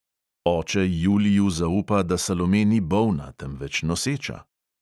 Oče juliju zaupa, da salome ni bolna, temveč noseča.